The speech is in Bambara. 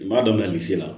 N b'a daminɛ misi la